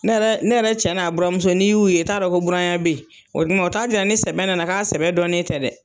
Ne yɛrɛ ne yɛrɛ cɛ n'a buramuso n'i y'u ye t'a dɔ ko buranya be ye. Ɔ duman o ta jira ni sɛbɛ nana k'a sɛbɛ dɔnnen tɛ dɛ.